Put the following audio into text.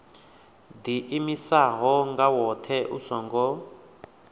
ḓiimisaho nga woṱhe u songo